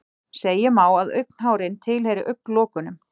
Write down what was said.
Segja má að augnhárin tilheyri augnlokunum.